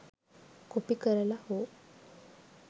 copy කරල හෝ